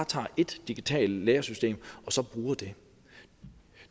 tager ét digitalt læresystem og så bruger det